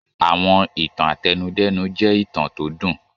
Àwọn ìtàn àtẹnudẹ́nu jẹ́ ìtàn tó dùn.